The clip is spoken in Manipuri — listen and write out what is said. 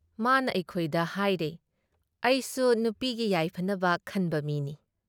ꯃꯥꯅ ꯑꯩꯩꯈꯣꯏꯗ ꯍꯥꯏꯔꯩ "ꯑꯩꯁꯨ ꯅꯨꯄꯤꯒꯤ ꯌꯥꯏꯐꯅꯕ ꯈꯟꯕ ꯃꯤꯅꯤ ꯫